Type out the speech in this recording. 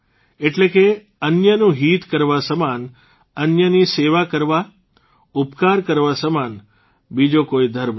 એટલે કે અન્યનું હિત કરવા સમાન અન્યની સેવા કરવા ઉપકાર કરવા સમાન બીજો કોઇ ધર્મ નથી